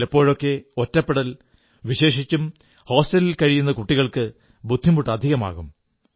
ചിലപ്പോഴൊക്കെ ഒറ്റപ്പെടൽ വിശേഷിച്ചും ഹോസ്റ്റലിൽ കഴിയുന്ന കുട്ടികൾക്ക് ബുദ്ധിമുട്ട് അധികമാകും